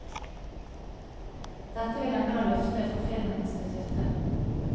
Dette vil han nå lufte for filminstituttet.